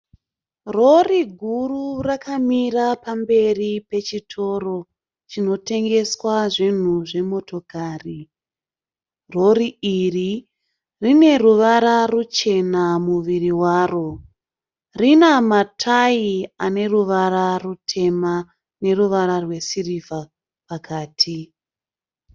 Rori guru rakamira pamberi pechitoro chinotengeswa zvinhu zvemotokari. Rori iri rine ruvara ruchena muviri waro, rina matai ane ruvara rutema neruvara rwesirivha pakati.